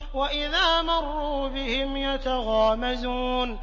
وَإِذَا مَرُّوا بِهِمْ يَتَغَامَزُونَ